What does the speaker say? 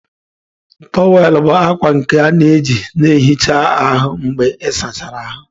Tówel bụ akwa nke a na-eji na-ehicha ahụ mgbe ịsachara ahụ.